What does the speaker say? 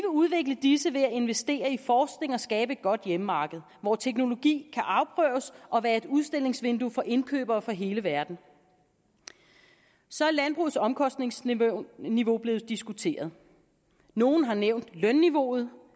udvikle disse ved at investere i forskning og skabe et godt hjemmemarked hvor teknologi kan afprøves og være et udstillingsvindue for indkøbere fra hele verden så er landbrugets omkostningsniveau blevet diskuteret nogle har nævnt lønniveauet